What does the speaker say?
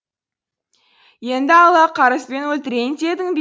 енді алла қарызбен өлтірейін дедің бе